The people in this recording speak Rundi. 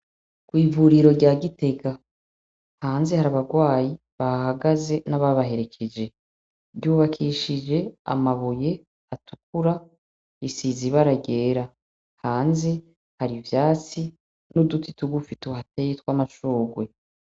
Kwivuriri rya gitega hanze har' abagwayi bahahagaze nababaherekeje, ryubakishij' amabuye 'tukuru risize ibira ryera, hanze har' ivyatsi nuduti tugufi tuhateye hateye twamashurwe.